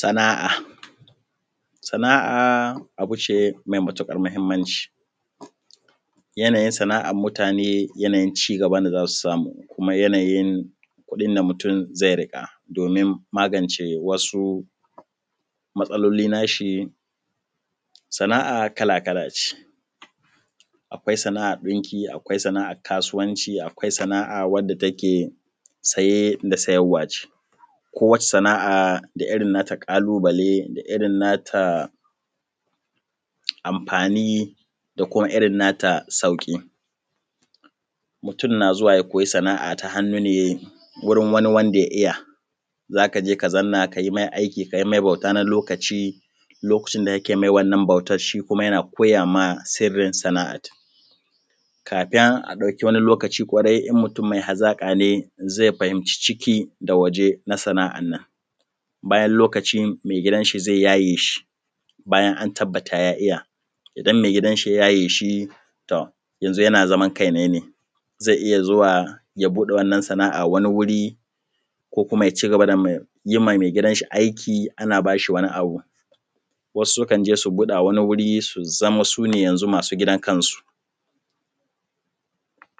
Sana’a, sana’a abu ce mai matuƙar mahimmanci. Yana yin sana’ar mutane yana yin ci gaban da za su samu kuma yana yin kuɗin da mutum zai riƙa domin magance wasu matsaloli nashi. Sana’a kala kala ce, akwai sana’ar ɗinki, akwai sa’ar kasuwanci, akwai sana’ar wadda take saye da sayarwa ce, kowace sana’a da irin nata ƙalubale da irin nata amfani da kuma irin nata sauƙi. Mutum na zuwa ya koyi sana’a ta hannu ne wajen wadda ya iya, zaka je ka zanna kayi mai aiki, kayi mai bauta na lokaci lokacin da kake yi mai wannan bautan shi kuma yana koyama sirrin sana’at, kafin a dauki wani lokaci kwarai in mutum mai hazaƙa ne zai fahimci ciki da waje na sana’an, bayan lokaci mai gidanshi zai yaye shi bayan an tabbata ya iya, idan mai gidan shi ya yaye shi ton yanzu yana zaman kai ne, zai iya zuwa ya buɗe wannan sana’a wani wuri ko kuma ya ci gaba da yimma mai gidan shi aiki ana bashi wani. Wasu sukan je su buɗa wani wuri su zama su ne yanzu masu zaman kan su,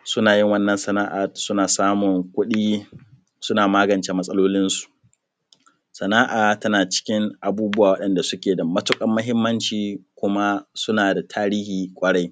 suna yin wannan sana’a su na samun kuɗi suna magance matsalolinsu. Sana’a tana cikin abubuwa wanda suke da matuƙar mahimmanci kuma suna da tarihi kwarai.